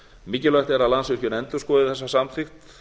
mikilvægt er að landsvirkjun endurskoði þessa samþykkt